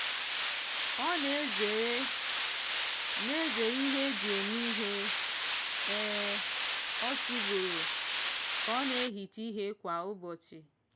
ọ na-ezere na-ezere ihe ndị e ji eme ihe um otu ugboro ka ọ na-ehicha ihe kwa ụbọchị